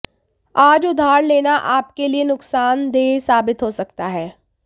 आज उधार लेना आपके लिए नुकसानदेह साबित हो सकता है